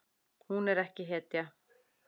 Hún er ekki hetja.